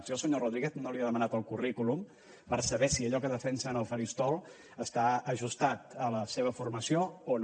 jo al senyor rodríguez no li he demanat el currículum per saber si allò que defensa en el faristol està ajustat a la seva formació o no